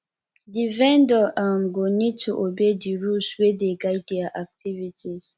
di vendor um go need to obey di rules wey dey guide their activities